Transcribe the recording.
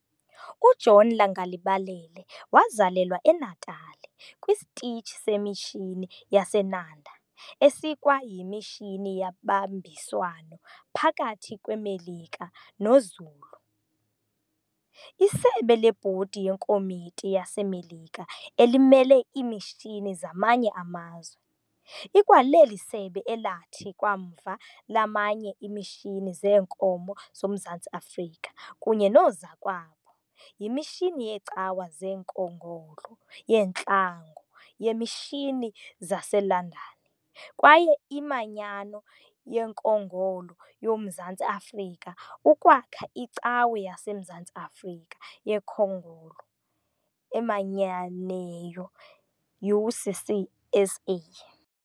UJohn Langalibalele wazalelwa eNatala kwisitishi semishini yaseNanda esikwa yimishini yabambiswano phakathi kweMelika noZulu. Isebe leBhodi yekomiti yaseMelika elimele iimishini zamanye amazwe, ikwaleli sebe elathi kwamva lamanya iimishini zeenkomo zoMzantsi Afrika kunye noozakwabo yimishini yeecawa zenkongolo yeeNtlango yeemishini zaseLondon kwaye iManyano yenkongolo yoMzantsi Afrika ukwakha Icawe yaseMzantsi Afrika yenkongolo emanyeneyo, UCCSA.